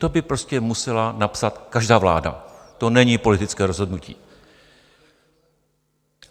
To by prostě musela napsat každá vláda, to není politické rozhodnutí.